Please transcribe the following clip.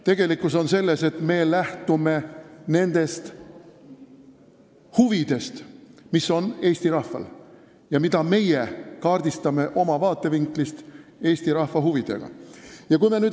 Tegelikkus on selles, et me lähtume nendest huvidest, mis on Eesti rahval ja mida meie kaardistame oma vaatevinklist Eesti rahva huvide kohta.